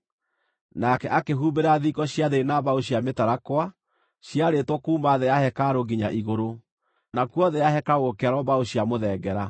Nake akĩhumbĩra thingo cia thĩinĩ na mbaũ cia mĩtarakwa, ciarĩtwo kuuma thĩ ya hekarũ nginya igũrũ, nakuo thĩ ya hekarũ gũkĩarwo mbaũ cia mũthengera.